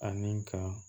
Ani ka